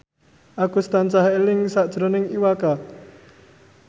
Agus tansah eling sakjroning Iwa K